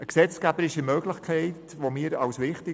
Diese gesetzgeberische Möglichkeit erachten wir als wichtig.